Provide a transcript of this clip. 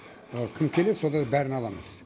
кім келеді содардың бәрін аламыз